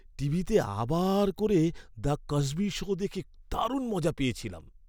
টিভিতে আবার করে "দ্য কসবি শো" দেখে দারুণ মজা পেয়েছিলাম।